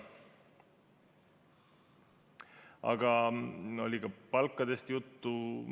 Aga oli ka palkadest juttu.